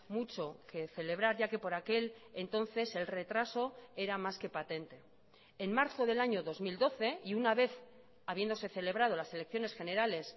mucho que celebrar ya que por aquel entonces el retraso era más que patente en marzo del año dos mil doce y una vez habiéndose celebrado las elecciones generales